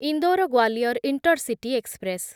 Indore Gwalior intercity express